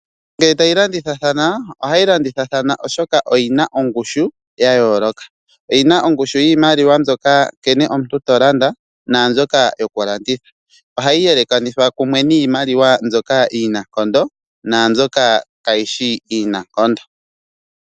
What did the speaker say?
Iimaliwa ngele tayi landithathana ohayi landithathana oshoka oyina ongushu yayooloka. Oyina ongushu yiimaliwa mbyoka nkene omuntu tolanda naambyoka yokulanditha. Ohayi yelekanithwa niimaliwa mbyoka iinankondo naambyoka kayishi iinankondo.